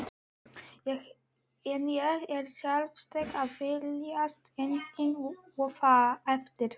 En ég er sjálfsagt að villast enn og aftur.